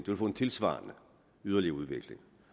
man få en tilsvarende yderligere udvikling